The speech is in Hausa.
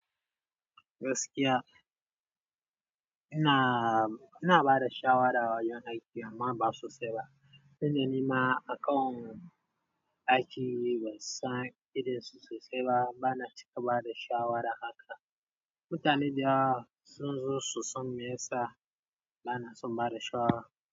Gaskiya, ina, ina bada shawara wa ƴan aiki amma ba so sai ba. Dan ni ma a kan aiki ba sa irin sosai ba, bana cika bada shawara haka. Mutane da sun zo su san meyasa bana son bada shawara.